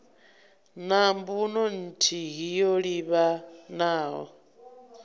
na mbuno nthihi yo livhanaho